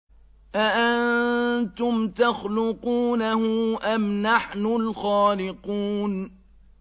أَأَنتُمْ تَخْلُقُونَهُ أَمْ نَحْنُ الْخَالِقُونَ